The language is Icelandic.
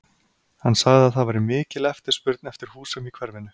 Hann sagði að það væri mikil eftirspurn eftir húsum í hverfinu.